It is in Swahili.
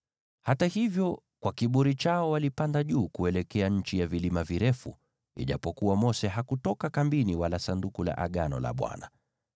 Hata hivyo, kwa kiburi chao walipanda juu kuelekea nchi ya vilima virefu, ijapokuwa Mose hakutoka kambini wala Sanduku la Agano la Bwana .